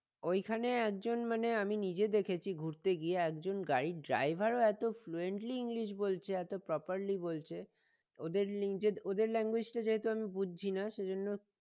ওইখানে একজন মানে আমি নিজে দেখেছি ঘুরতে গিয়ে একজন গাড়ির driver ও এতো fluently english বলছে এত properly বলছে ওদের ওদের language টা যেহেতু আমি বুঝছি না সেজন্য